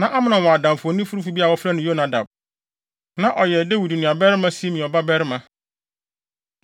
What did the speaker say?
Na Amnon wɔ adamfo onifirifo bi a wɔfrɛ no Yonadab. Na ɔyɛ Dawid nuabarima Simea babarima.